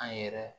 An yɛrɛ